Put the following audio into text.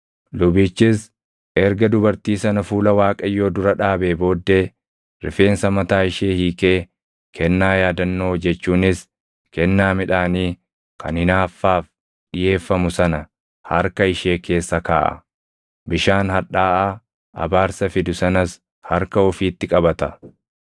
Lubichis erga dubartii sana fuula Waaqayyoo dura dhaabee booddee rifeensa mataa ishee hiikee kennaa yaadannoo jechuunis kennaa midhaanii kan hinaaffaaf dhiʼeeffamu sana harka ishee keessa kaaʼa; bishaan hadhaaʼaa abaarsa fidu sanas harka ofiitti qabata.